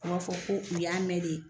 u b'a fɔ ko u y'a mɛn de